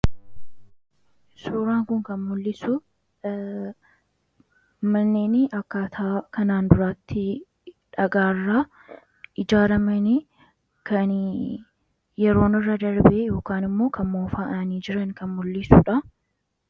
Suuraan kun kan mullisu manneen akkaataa kanaan duraatti dhagaarra ijaaramanii kan yeroon irra darbee yookaan immoo kan moofaa'anii jiran kan mul'isuudha.